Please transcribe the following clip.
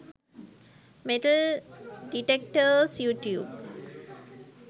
metal detectors youtube